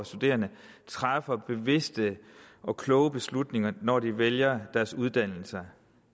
studerende træffer bevidste og kloge beslutninger når de vælger deres uddannelser